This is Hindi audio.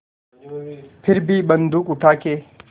फिर भी बन्दूक उठाके